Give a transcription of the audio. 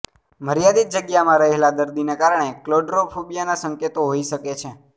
મર્યાદિત જગ્યામાં રહેલા દર્દીને કારણે ક્લોડ્રોફોબિયાના સંકેતો હોઇ શકે છે